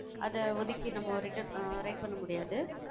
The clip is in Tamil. அதை ஒதுக்கி, நம்ம writ~ அஹ் write பண்ண முடியாது.